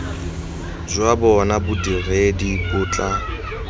jwa bona bodiredi bo tla